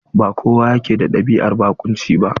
Ba kowa yake da ɗabi'an barƙunci ba.